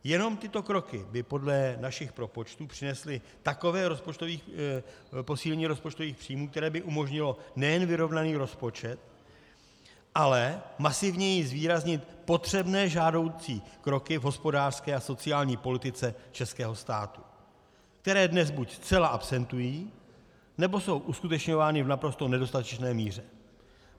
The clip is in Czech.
Jenom tyto kroky by podle našich propočtů přinesly takové posílení rozpočtových příjmů, které by umožnilo nejen vyrovnaný rozpočet, ale masivněji zvýraznit potřebné žádoucí kroky v hospodářské a sociální politice českého státu, které dnes buď zcela absentují, nebo jsou uskutečňovány v naprosto nedostatečné míře.